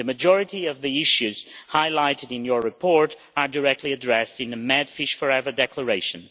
The majority of the issues highlighted in your report are directly addressed in the MedFish4Ever Declaration.